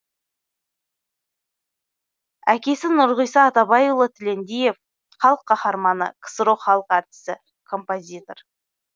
әкесі нұрғиса атабайұлы тілендиев халық қаһарманы ксро халық әртісі композитор